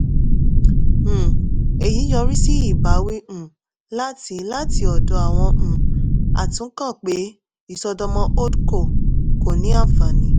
um èyí yọrí sí ìbáwí um láti láti ọ̀dọ̀ àwọn um atúnkàn pé ìṣọ́dọ̀mọ́ holdco kò ní ànfàní.